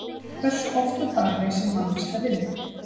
Hversu oft á dag leysir manneskja vind?